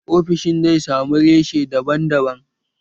Ofishin zai samu reshe daban daban